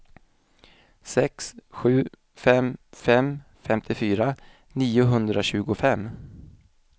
sju sex fem fem femtiofyra niohundratjugofem